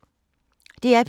DR P3